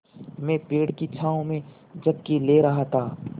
मैं पेड़ की छाँव में झपकी ले रहा था